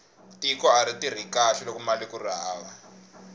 tiko ari tirhi kahle lokomali kuri hava